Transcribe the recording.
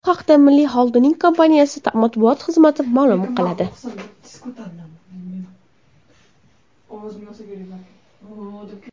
Bu haqda Milliy xolding kompaniyasi matbuot xizmati ma’lum qiladi .